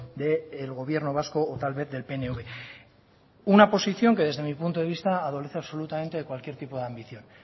del gobierno vasco o tal vez del pnv una posición que desde mi punto de vista adolece absolutamente de cualquier tipo de ambición